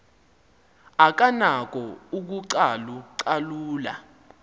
akanako ukucalu calula